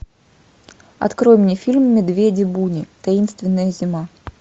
открой мне фильм медведи буни таинственная зима